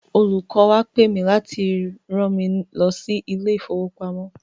Olùkọ́ wa pe mì láti rán mi lọ sí ilé ìfowopamọ́.